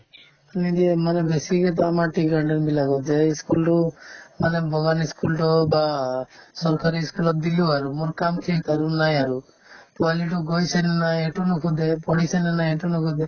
নিদিয়ে মানে বেছিকেতো আমাৰ tea garden বিলাকত যে ই school তো মানে বাগান ই school তো বা চৰকাৰী ই school ত দিলো আৰু মোৰ কাম শেষ আৰু নাই আৰু পোৱালিতো গৈছে নে নাই সেইটোও নোসোধে পঢ়িছেনে নাই সেইটোও নোসোধে